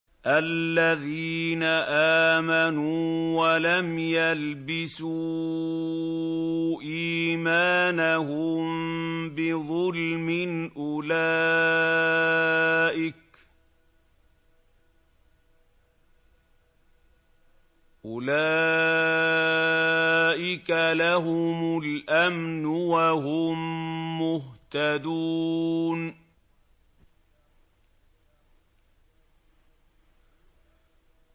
الَّذِينَ آمَنُوا وَلَمْ يَلْبِسُوا إِيمَانَهُم بِظُلْمٍ أُولَٰئِكَ لَهُمُ الْأَمْنُ وَهُم مُّهْتَدُونَ